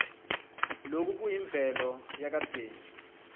loku kuyimvelo yakadzeni